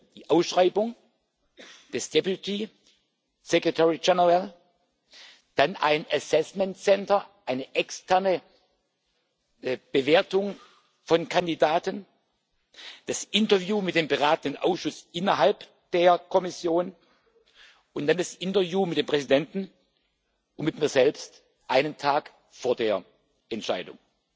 Erst die Ausschreibung des Deputy Secretary General dann ein Assessment Center eine externe Bewertung von Kandidaten, das Interview mit dem Beratenden Ausschuss innerhalb der Kommission und dann das Interview mit dem Präsidenten und mit mir selbst einen Tag vor der Entscheidung.